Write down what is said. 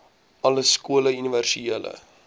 alle skole universele